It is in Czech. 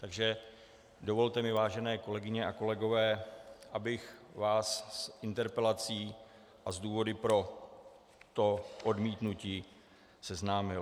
Takže dovolte mi, vážené kolegyně a kolegové, abych vás s interpelací a s důvody pro to odmítnutí seznámil.